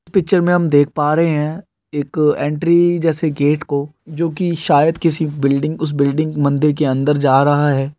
Picture हम देख पा रहे हे एक एंट्री जेसे गेट को जो की सायद किसी बिल्डिंग उस बिल्डिंग मंदिर के अंदर जा रहा हे।